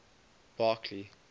barkly